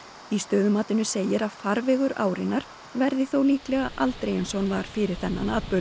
í stöðumatinu segir að farvegur árinnar verði þó líklega aldrei eins og hann var fyrir þennan atburð